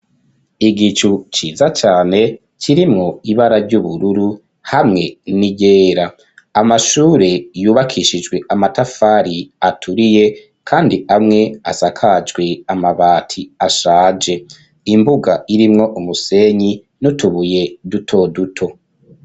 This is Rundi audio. Igicu ciza cane kirimwo ibara ry'ubururu hamwe n'iyera amashure yubakishijwe amatafari aturiye, kandi amwe asakajwe amabati ashaje imbuga irimwo umusenyi n'utubuye dutoduto.